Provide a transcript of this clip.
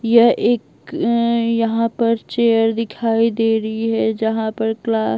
यह एक उम्म यहां पर चेयर दिखाई दे रही है जहां पर क्लास --